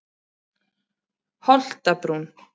Holtabrún